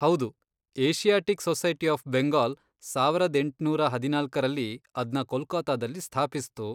ಹೌದು, Asiatic Society of Bengal ಸಾವರದ್ ಎಂಟುನೂರ ಹದಿನಾಲ್ಕರಲ್ಲಿ ಅದ್ನ ಕೊಲ್ಕತ್ತಾದಲ್ಲಿ ಸ್ಥಾಪಿಸ್ತು.